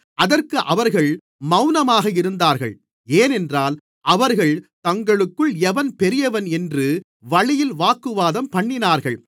அதற்கு அவர்கள் மவுனமாக இருந்தார்கள் ஏனென்றால் அவர்கள் தங்களுக்குள் எவன் பெரியவன் என்று வழியில் வாக்குவாதம்பண்ணினார்கள்